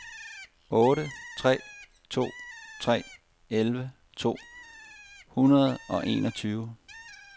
otte tre to tre elleve to hundrede og enogtyve